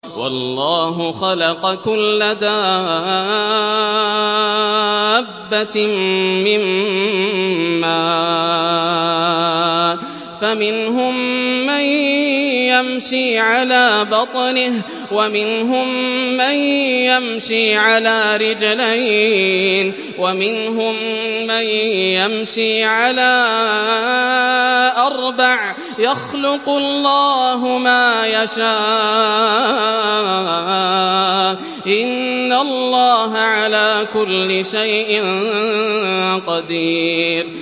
وَاللَّهُ خَلَقَ كُلَّ دَابَّةٍ مِّن مَّاءٍ ۖ فَمِنْهُم مَّن يَمْشِي عَلَىٰ بَطْنِهِ وَمِنْهُم مَّن يَمْشِي عَلَىٰ رِجْلَيْنِ وَمِنْهُم مَّن يَمْشِي عَلَىٰ أَرْبَعٍ ۚ يَخْلُقُ اللَّهُ مَا يَشَاءُ ۚ إِنَّ اللَّهَ عَلَىٰ كُلِّ شَيْءٍ قَدِيرٌ